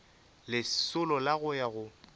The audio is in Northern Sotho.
lesolo la go ya go